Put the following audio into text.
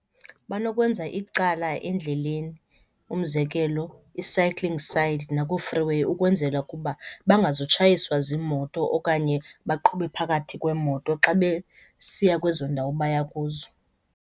Banokwenza icala endleleni, umzekelo i-cycling side nakoo-free way ukwenzela ukuba bangazutshayiswa ziimoto okanye baqhube phakathi kweemoto xa besiya kwezo ndawo baya kuzo.